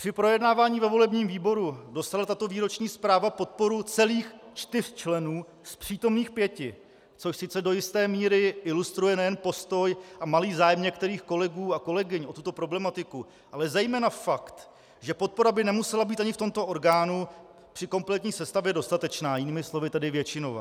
Při projednávání ve volebním výboru dostala tato výroční zpráva podporu celých čtyř členů z přítomných pěti, což sice do jisté míry ilustruje nejen postoj a malý zájem některých kolegů a kolegyň o tuto problematiku, ale zejména fakt, že podpora by nemusela být ani v tomto orgánu při kompletní sestavě dostatečná, jinými slovy tedy většinová.